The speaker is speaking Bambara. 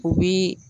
O bi